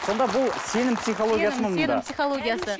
сонда бұл сенім сенім сенім психологиясы